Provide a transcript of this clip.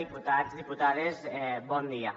diputats diputades bon dia